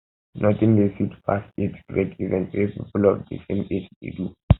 nothing de sweet pass age grade event wey people of de same age dey do